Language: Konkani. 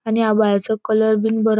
आणि आवाळ्याचो कलर बिन बरो --